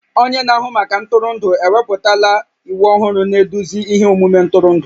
Onye na-ahụ maka ntụrụndụ ewepụtala iwu ọhụrụ na-eduzi ihe omume ntụrụndụ